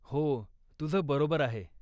हो, तुझं बरोबर आहे.